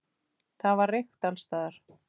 Það var reykt alls staðar.